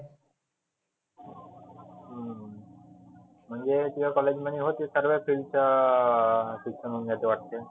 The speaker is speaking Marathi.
म्हणजे तुह्या college मध्ये होते सर्व्या field चं अं शिक्षण होऊन जाते वाटते.